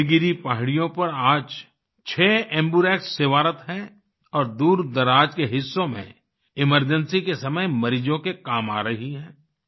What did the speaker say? नीलगिरी पहाड़ियों पर आज 6 एम्बर्क्स सेवारत हैं और दूरदराज़ के हिस्सों में एमरजेंसी के समय मरीजों के काम आ रही हैं